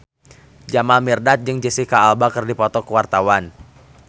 Jamal Mirdad jeung Jesicca Alba keur dipoto ku wartawan